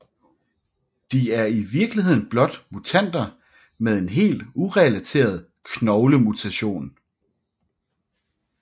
De er i virkeligheden blot mutanter med en helt urelateret knoglemutation